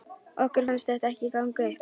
Okkur fannst þetta ekki ganga upp.